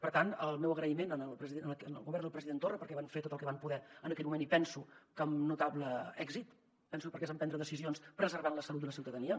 per tant el meu agraïment al govern del president torra perquè van fer tot el que van poder en aquell moment i penso que amb notable èxit perquè es van prendre decisions preservant la salut de la ciutadania